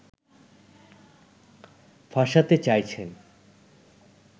ফাঁসাতে চাইছেন